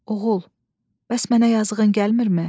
Oğul, bəs mənə yazığın gəlmirmi?